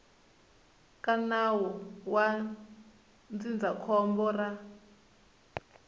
ka nawu wa ndzindzakhombo ra